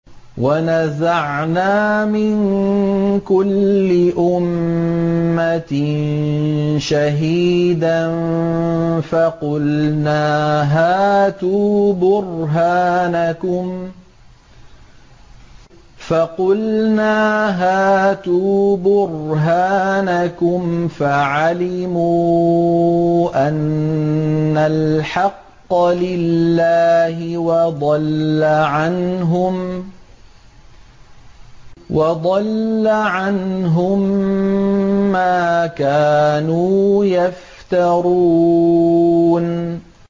وَنَزَعْنَا مِن كُلِّ أُمَّةٍ شَهِيدًا فَقُلْنَا هَاتُوا بُرْهَانَكُمْ فَعَلِمُوا أَنَّ الْحَقَّ لِلَّهِ وَضَلَّ عَنْهُم مَّا كَانُوا يَفْتَرُونَ